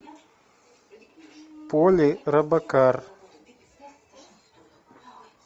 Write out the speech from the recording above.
поли робокар